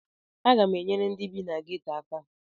Aga m enyere ndị bi na geto aka